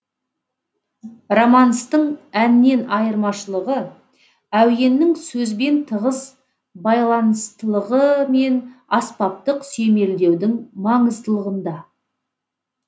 романстың әннен айырмашылығы әуеннің сөзбен тығыз байланыстылығы мен аспаптық сүйемелдеудің маңыздылығында